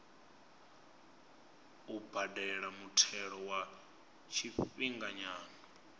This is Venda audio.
u badela muthelo wa tshifhinganyana